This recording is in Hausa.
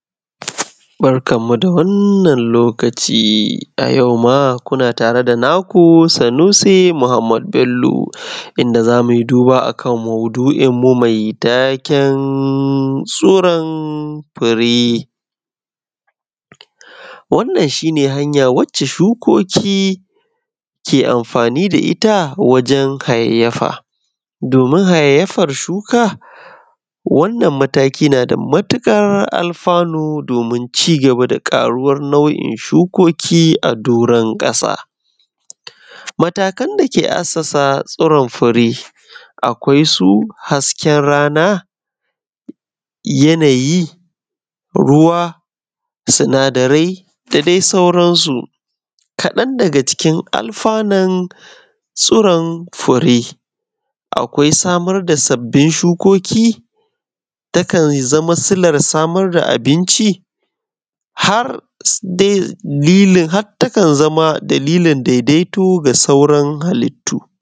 Barkanmu da wannan lokaci a yauma kuna tare da naku Sanusi Muhammad Bello, inda za mu yi duba akan mauɗu’inmu mai taken suran fire. Wannan shi ne hanya wacce shukoki ke amfani da ita wajen hayayyafa, domin hayayyafan shuka, wannan mataƙi na da matuƙar alfanu domin ci gaba da ƙaruwan nau’in shukoki a doron ƙasa. Matakan da ke assasa suran fire akwai su: hasken rana, yanayi, ruwa, sinadarai, da dai sauransu. Kaɗan daga cikin alfanun tsuran fire akwai: samar da sabbin shukoki, da kan iya zama silan samar da abinci har ma dalilin har ta kan zama dailin daidaito da sauran halittu.